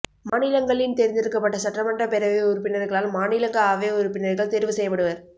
மாநிலங் களின் தேர்ந்தெடுக்கப்பட்ட சட்டமன்ற பேரவை உறுப்பினர்களால்மாநிலங்கள் அவை உறுப்பினர்கள் தேர்வுசெயயபடுவர்